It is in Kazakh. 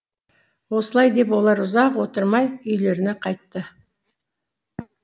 осылай деп олар ұзақ отырмай үйлеріне қайтты